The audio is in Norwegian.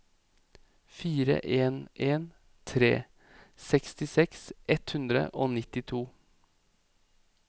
fire en en tre sekstiseks ett hundre og nittito